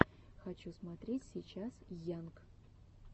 хочу смотреть сейчас йанг